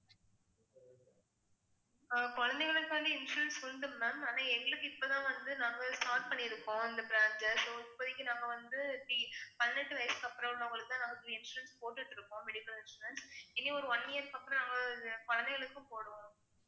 ஆஹ் குழந்தைகளுக்காண்டி insurance வந்து ma'am ஆனா எங்களுக்கு இப்பதான் வந்து நாங்க start பண்ணியிருக்கோம், இந்த branch ல so இப்போதைக்கு நாங்க வந்து பதினெட்டு வயசுக்கு அப்புறம் உள்ளவங்களுக்குத்தான் நமக்கு insurance போட்டுட்டு இருக்கோம் medical insurance இனி ஒரு one year க்கு அப்புறம் நாங்க குழந்தைகளுக்கும் போடுவோம்